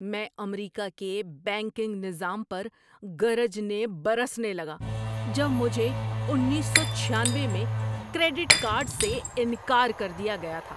میں امریکہ کے بینکنگ نظام پر گرجنے برسنے لگا جب مجھے اُنیس سو چھیانوے میں کریڈٹ کارڈ سے انکار کر دیا گیا تھا۔